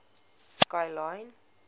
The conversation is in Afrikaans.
kilian